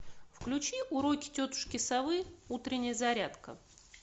включи уроки тетушки совы утренняя зарядка